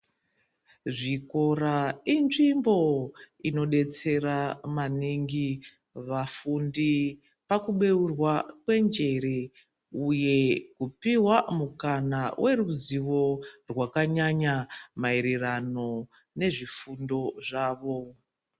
Zvikora inzvimbo inodetsera maningi vafundi pakubeurwa kwenjere ,uye kupihwa mukana weruzivo rwakanyanya ,maererano nezvifundo zvavo.